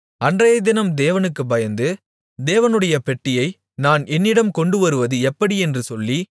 அன்றையதினம் தேவனுக்கு பயந்து தேவனுடைய பெட்டியை நான் என்னிடம் கொண்டுவருவது எப்படியென்று சொல்லி